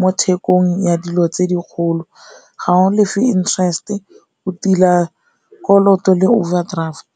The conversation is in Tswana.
mo thekong ya dilo tse dikgolo, ga o lefe interest-e o tila kolota le overdraft.